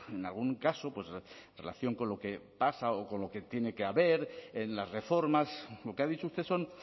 en algún caso en relación con lo que pasa o con lo que tiene que haber en las reformas lo que ha dicho usted son